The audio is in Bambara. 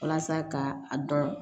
Walasa ka a dɔn